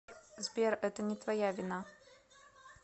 сбер это не твоя вина